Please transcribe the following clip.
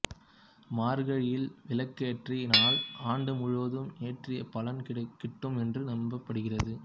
மார்கழியில் விளக்கேற்றினால் ஆண்டு முழுவதும் ஏற்றிய பலன் கிட்டும் என்று நம்பப்படுகிறது